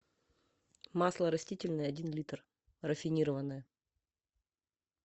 масло растительное один литр рафинированное